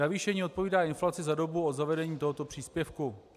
Navýšení odpovídá inflaci za dobu od zavedení tohoto příspěvku.